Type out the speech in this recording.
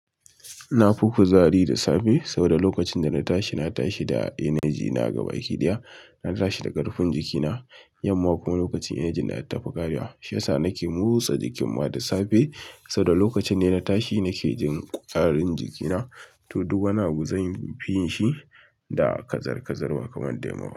Nafi ku zari da safe saboda lokacin da na tashi, na tashi da energy na a gaba gida. Na tashi da ƙarfin jikina yamma kuma lokacin energy na ya tafi karewa shiyasa nake motsa jikinma da safe saboda lokacin da na tashi nake jin ƙwarin jikina, to duk wani abu zanfin yinshi da kazar kazar ba kamar da yamma.